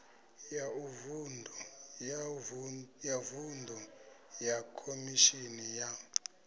ya vuṅdu ya khomishini ya